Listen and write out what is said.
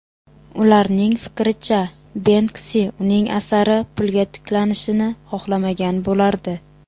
Ularning fikricha, Benksi uning asari pulga tiklanishini xohlamagan bo‘lardi.